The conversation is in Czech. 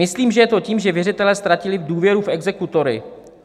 Myslím, že je to tím, že věřitelé ztratili důvěru v exekutory.